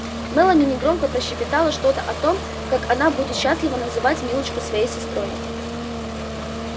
мелани негромко прощебетала что-то о том как она будет счастлива назвать милочку своей сестрой